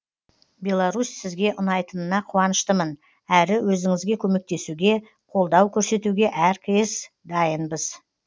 беларусь сізге ұнайтынына қуаныштымын әрі өзіңізге көмектесуге қолдау көрсетуге әркез дайынбыз